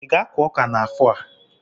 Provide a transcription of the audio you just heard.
Ị ga-akụ ọka n'afọ a?